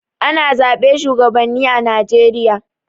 Ana zaɓe shuwagabanni a Najeriya.